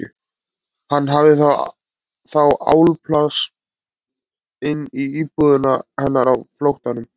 Hann hafði þá álpast inn í íbúðina hennar á flóttanum!